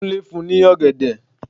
Kúnlé fún ní ọ̀gẹ̀dẹ̀.